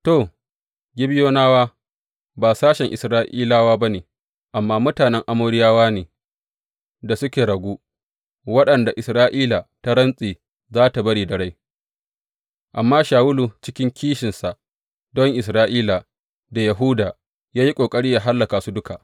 To, Gibeyonawa ba sashen Isra’ilawa ba ne, amma mutanen Amoriyawa ne da suka ragu, waɗanda Isra’ila ta rantse za tă bari da rai, amma Shawulu cikin kishinsa don Isra’ila da Yahuda ya yi ƙoƙari yă hallaka su duka.